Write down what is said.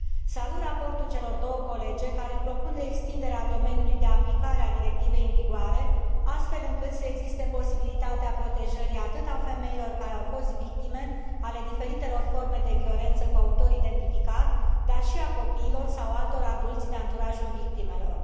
Salut raportul celor două colege, care propune extinderea domeniului de aplicare a directivei în vigoare, astfel încât să existe posibilitatea protejării atât a femeilor care au fost victime ale diferitelor forme de violență cu autor identificat, dar și a copiilor sau a altor adulți din anturajul victimelor.